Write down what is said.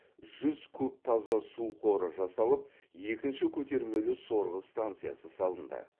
жүз куб таза су қоры жасалып екінші көтермелі сорғы станциясы салынды